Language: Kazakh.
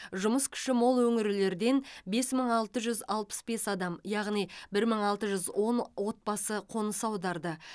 жұмыс күші мол өңірлерден бес мың алты жүз алпыс бес адам яғни бір мың алты жүз он отбасы қоныс аударды